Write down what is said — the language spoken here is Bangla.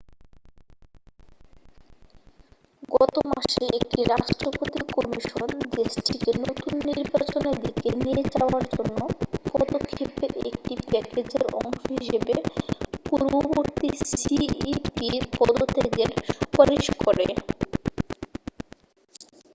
গত মাসে একটি রাষ্ট্রপতি কমিশন দেশটিকে নতুন নির্বাচনের দিকে নিয়ে যাওয়ার জন্য পদক্ষেপের একটি প্যাকেজের অংশ হিসেবে পূর্ববর্তী সিইপি'র পদত্যাগের সুপারিশ করে